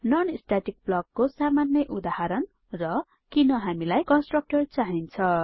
non static blockको सामान्य उदाहरण र किन हामीलाई कन्स्ट्रक्टर्स चाहिन्छ